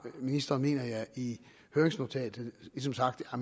ministeren mener jeg i høringsnotatet ligesom sagt at